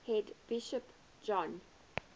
head bishop john